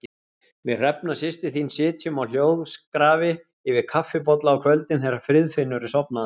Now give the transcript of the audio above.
Við Hrefna systir þín sitjum á hljóðskrafi yfir kaffibolla á kvöldin þegar Friðfinnur er sofnaður.